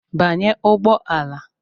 Banye ụgbọ ala.